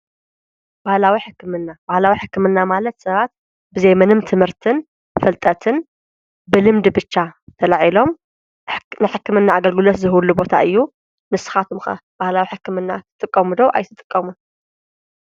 ባህላዊ ሕክምና፣ ባህላዊ ሕክምና ማለት ሰባት ብዘይ ምንም ትምህርትን ፍልጠትን ብልምድ ብቻ ተለዒሎም ንሕክምና ኣገልግለት ዝህብሉ ቦታ እዩ። ንስኻትኩም ባህላዊ ሕክምና ትጥቀሙ ዶ ኣይትጥቀሙን?